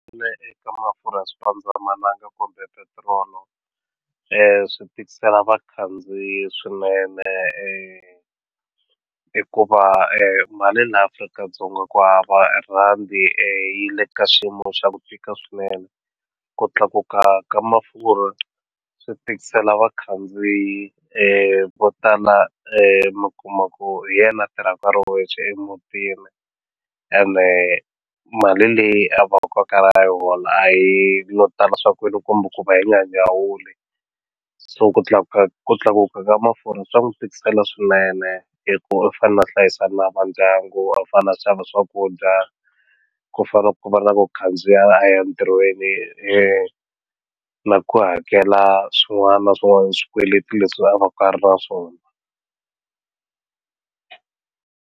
Ina eka mafurha swipandzamananga kumbe petirolo swi tikisela vakhandziyi swinene hikuva mali laha Afrika-Dzonga ku hava rand yi le ka xiyimo xa ku fika swinene ku tlakuka ka mafurha swi tikisela vakhandziyi vo tala mi kuma ku hi yena a tirhaka a ri yexe emutini ene mali leyi a va ku a karhi a yi hola a yi yo tala swa ku yini kumbe ku va yi nga nyawuli so ku tlakuka ku tlakuka ka mafurha swa n'wi tikisela swinene hi ku u fana a hlayisa na vandyangu a fane a xava swakudya ku fana na ku va na ku khandziya a ya ntirhweni na ku hakela swin'wana na swin'wana swikweleti leswi a va ka a ri na swona.